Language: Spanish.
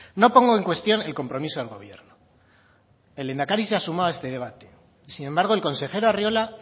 no pongo en cuestión el compromiso del gobierno el lehendakari se ha sumado a este debate sin embargo el consejero arriola